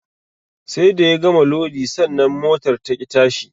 Sai da ya gama lodi sannan motar taƙi tashi